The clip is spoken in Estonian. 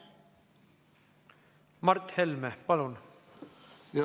Mart Helme, palun!